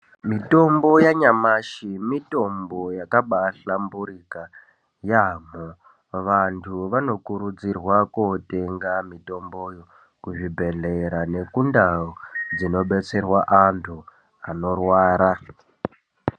Mitombo yanyamashi mitombo yakambahlamburika yaamho vanhu vanokurudzirwa kotenga mitombo yo kuzvibhedhlera nekundau dzinodetserwa antu anorwara.